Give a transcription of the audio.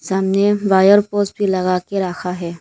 सामने wire poles भी लगा के रखा है।